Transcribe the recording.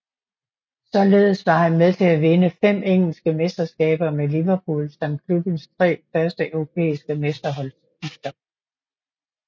Således var han med til at vinde fem engelske mesterskaber med Liverpool samt klubbens tre første europæiske mesterholdstitler